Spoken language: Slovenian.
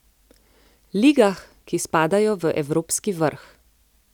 Ligah, ki spadajo v evropski vrh.